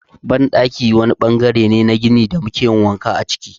Banɗaki wani ɓangare ne na gini da muke yin wanka a ciki.